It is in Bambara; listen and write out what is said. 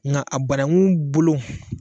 Nga a banangu bulu